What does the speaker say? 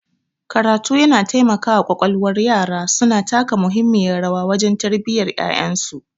karatu yana taimakawa kwalkwalwar yaraIyaye suna taka muhimmiyar rawa wajen tarbiyyar yayansu